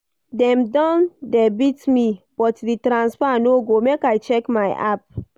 Dem don debit me but di transfer no go, make I check my app.